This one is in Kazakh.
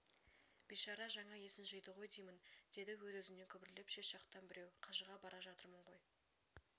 бейшара жаңа есін жиды ғой деймін деді өз-өзінен күбірлеп шет жақтан біреу қажыға бара жатырмын ғой